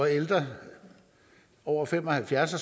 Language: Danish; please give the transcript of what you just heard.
ældre over fem og halvfjerds år